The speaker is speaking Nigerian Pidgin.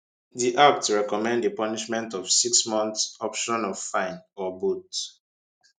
di act recommend a punishment of six months option of fine or both